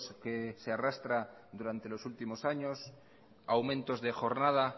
que se arrastra durante los últimos años aumentos de jornada